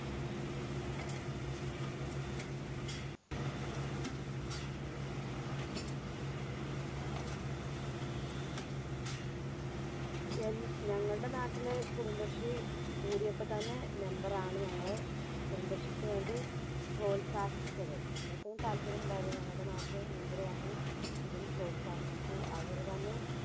ഞ~ഞങ്ങളുടെ നാട്ടില് കുടുംബശ്രീ കൂടിയപ്പോത്തന്നെ member ആണ് ഞങ്ങളെ കുടുംബശ്രീക്കുവേണ്ടി പ്രോത്സാഹിപ്പിച്ചത്. ഞങ്ങൾക്കും താൽപര്യമുണ്ടായിരുന്നു. ഞങ്ങൾടെ നാട്ടില് member വന്ന് ഇതിന് പ്രോത്സാഹിപ്പിച്ചു. അവരുതന്നെ